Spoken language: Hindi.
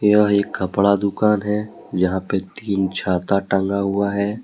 यह एक कपड़ा दुकान है यहां पे तीन छाता टंगा हुआ है।